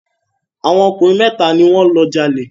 Àwọn ọkùnrin mẹ́ta ni wọ́n lọ jalè.